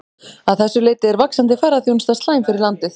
Að þessu leyti er vaxandi ferðaþjónusta slæm fyrir landið.